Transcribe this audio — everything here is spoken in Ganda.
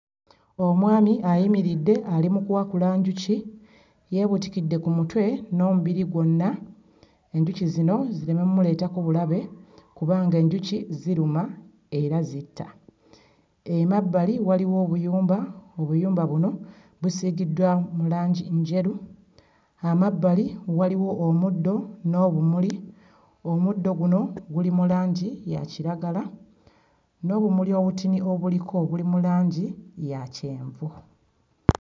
Omwami ayimiridde ali mu kuwakula njuki, yeebuutikidde ku mutwe n'omubiri gwonna enjuki zino zireme mmuleetako bulabe kubanga enjuki ziruma era zitta. Emabbali waliwo obuyumba, obuyumba buno busiigiddwa mu langi njeru, amabbali waliwo omuddo n'obumuli; omuddo guno guli mu langi ya kiragala, n'obumuli obutini obuliko buli mu langi ya kyenvu.